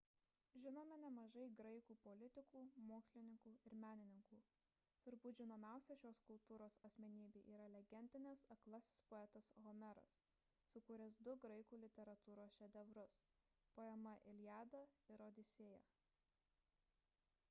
žinome nemažai graikų politikų mokslininkų ir menininkų turbūt žinomiausia šios kultūros asmenybė yra legendinis aklasis poetas homeras sukūręs du graikų literatūros šedevrus poemas iliada ir odisėja